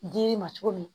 Dili ma cogo min na